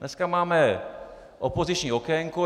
Dneska máme opoziční okénko.